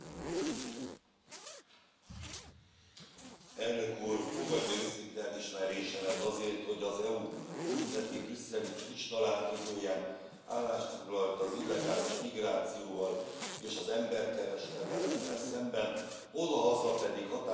Elnök Úr, fogadja őszinte elismerésemet azért, hogy az EU múlt heti brüsszeli csúcstalálkozóján állást foglalt az illegális migrációval és az emberkereskedelemmel szemben, odahaza pedig határozottan fellépett a korrupció ellenében